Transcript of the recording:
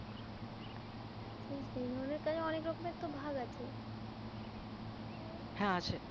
সেই সেই ধরনের কাজে অনেক রকমের তো ভাগ আছে হ্যাঁ আছে